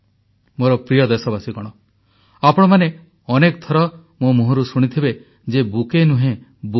ମୋର ପ୍ରିୟ ଦେଶବାସୀଗଣ ଆପଣମାନେ ଅନେକ ଥର ମୋ ମୁହଁରୁ ଶୁଣିଥିବେ ଯେ ବୁକେ ନୁହେଁ ବୁକ୍